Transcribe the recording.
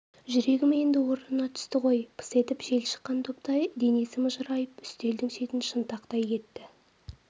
жүрегім енді орнына түсті ғой пыс етіп жел шыққан доптай денесі мыжырайып үстелдің шетін шынтақтай кетті